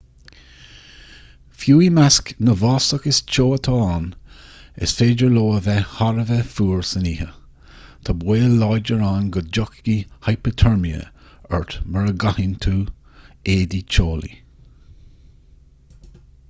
fiú i measc na bhfásach is teo atá ann is féidir leo a bheith thar a bheith fuar san oíche tá baol láidir ann go dtiocfaidh hipiteirme ort mura gcaitheann tú éadaí teolaí